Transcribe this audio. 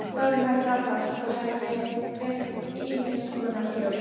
Þórunn heldur áfram:- Svo hef ég heyrt ýmiss konar hljóð.